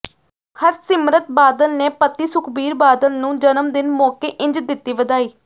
ਹਰਸਿਮਰਤ ਬਾਦਲ ਨੇ ਪਤੀ ਸੁਖਬੀਰ ਬਾਦਲ ਨੂੰ ਜਨਮਦਿਨ ਮੌਕੇ ਇੰਝ ਦਿੱਤੀ ਵਧਾਈ